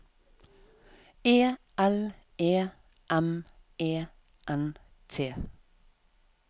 E L E M E N T